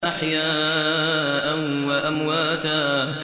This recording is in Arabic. أَحْيَاءً وَأَمْوَاتًا